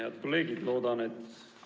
Head kolleegid!